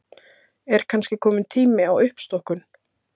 Er kannski kominn tími á uppstokkun?